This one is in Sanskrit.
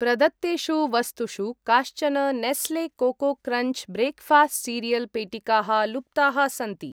प्रदत्तेषु वस्तुषु काश्चन Nestle Koko Krunch breakfast cereal पेटिकाः लुप्ताः सन्ति।